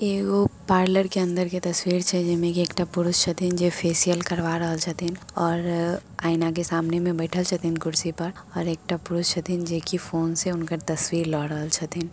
ये वो एक पार्लर के अन्दर के तस्वीर छै जे मे की एकटा पुरुष छथीन । फेसियल करवा रहल छथीन और अ आइना के सामने में बैठल छथिन । कुर्सी पर और एक अ पुरुष जे की फोन से हुनकर तस्वीर ल रहल छथिन।